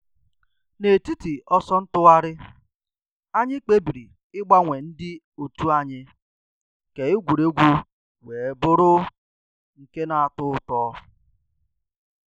N’etiti ọsọ ntụgharị, anyị kpebiri ịgbanwe ndị òtù anyi ka egwuregwu wee bụrụ nke na.-atọ ụtọ.